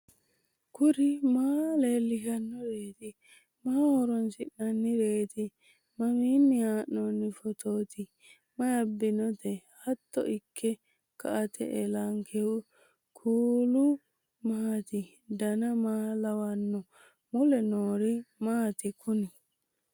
kuri maa leellishannoreeti maaho horoonsi'noonnireeti mamiinni haa'noonni phootooti mayi abbinoote hiito ikke kainote ellannohu kuulu maati dan maa lawannoho mule noori maati kuni